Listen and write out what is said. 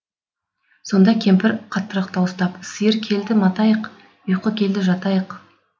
сонда кемпір қаттырақ дауыстап сиыр келді матайық ұйқы келді жатайық